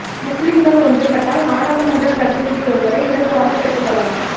முஸ்லிம்கள் ஒன்று பட்டால் நாடாளுமன்றப் பிரநிதி ஒருவரை இலகுவாகப் பெற்றுக் கொள்ளலாம்